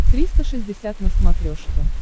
триста шестьдесят на смотрешке